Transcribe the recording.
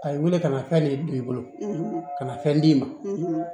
A ye wele kana fɛn ne don i bolo kana fɛn d'i ma